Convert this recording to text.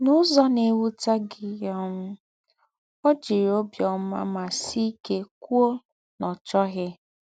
N’ứzọ̀ nà-èwụ̀tẹ́ gị̀, um ọ́ jị̀rị̣ ọ́bíọ̀má mà sị̀ íké kwụ́ọ nà ọ́ chọ́ghị̣.